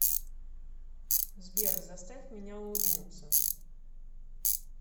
сбер заставь меня улыбнуться